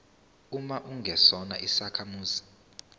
uma ungesona isakhamuzi